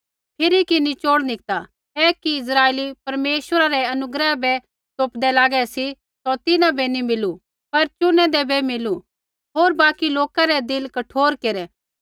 फिरी कि निचौड़ निकता ऐ कि इस्राइली परमेश्वरा रै अनुग्रह बै तोपदै लागै सी सौ तिन्हां बै नैंई मिलु पर चुनैदै बै मिलु होर बाकि लौका रै दिल कठोर केरै